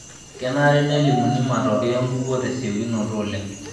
Kenare nelimuni matokeo enkukuo tesiokinito oleng.